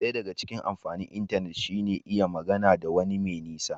Daya daga cikin amfanin intanet shi ne iya magana da wani mai nisa